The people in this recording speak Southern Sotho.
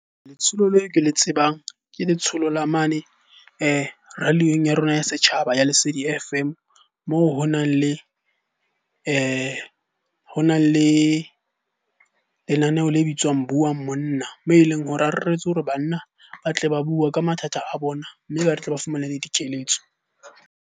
Letsholo leo ke le tsebang ke letsholo la mane radio-ong ya rona ya setjhaba ya Lesedi F_M. Moo ho nang le ho na le lenaneo le bitswang Buang monna. Moo e leng hore a reretswe hore banna ba tle ba bue ka mathata a bona, mme ba tle ba fumane le dikeletso.